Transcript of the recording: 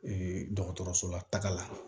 dɔgɔtɔrɔso la taga la